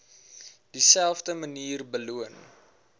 dieselfde manier beloon